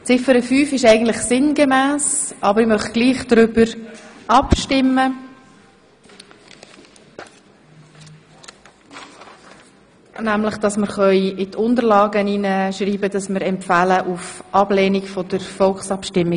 Ziffer 5 ist eigentlich sinngemäss, aber ich möchte gleichwohl darüber abstimmen lassen, ob wir in die Abstimmungsunterlagen schreiben können, dass wir bei der Volksabstimmung die Initiative zur Ablehnung empfehlen.